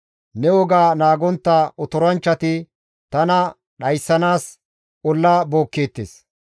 Ne woga naagontta otoranchchati tana dhayssanaas olla bookkeettes.